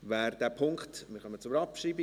Wir kommen zur Abschreibung.